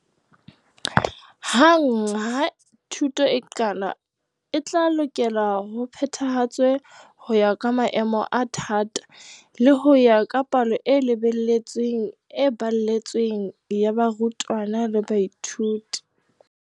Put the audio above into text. Hang ha thuto e qala, e tla lokela ho phethahatswa ho ya ka maemo a thata le ho ya ka palo e lebeletsweng e baletsweng ya barutwana le baithuti.